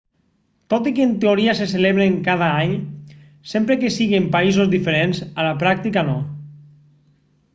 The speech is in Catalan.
tot i que en teoria se celebren cada any sempre que sigui en països diferents a la pràctica no